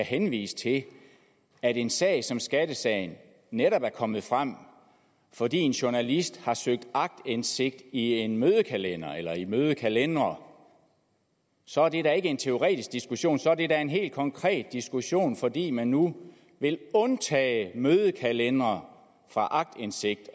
henvise til at en sag som skattesagen netop er kommet frem fordi en journalist har søgt aktindsigt i en mødekalender eller i mødekalendere så er det da ikke en teoretisk diskussion så er det da en helt konkret diskussion fordi man nu vil undtage mødekalendere fra aktindsigt